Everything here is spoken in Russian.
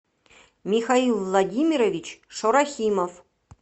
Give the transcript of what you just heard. михаил владимирович шорахимов